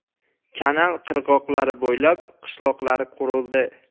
Kanal qirg‘oqlari bo‘ylab qishloqlar qurildi.